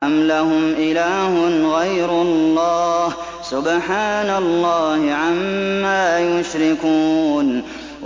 أَمْ لَهُمْ إِلَٰهٌ غَيْرُ اللَّهِ ۚ سُبْحَانَ اللَّهِ عَمَّا يُشْرِكُونَ